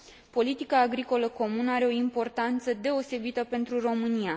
Politica agricolă comună are o importanță deosebită pentru România.